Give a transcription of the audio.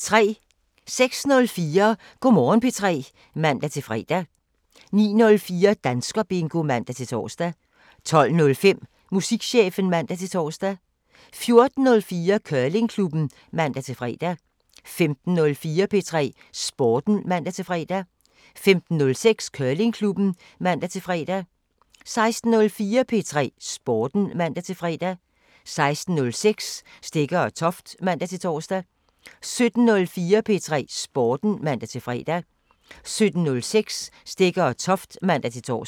06:04: Go' Morgen P3 (man-fre) 09:04: Danskerbingo (man-tor) 12:05: Musikchefen (man-tor) 14:04: Curlingklubben (man-fre) 15:04: P3 Sporten (man-fre) 15:06: Curlingklubben (man-fre) 16:04: P3 Sporten (man-fre) 16:06: Stegger & Toft (man-tor) 17:04: P3 Sporten (man-fre) 17:06: Stegger & Toft (man-tor)